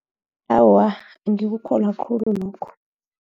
Awa, angikukholwa khulu lokho.